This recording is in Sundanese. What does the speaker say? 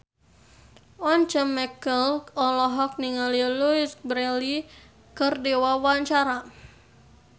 Once Mekel olohok ningali Louise Brealey keur diwawancara